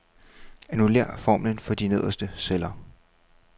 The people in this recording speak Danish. Annullér formlen for de nederste celler.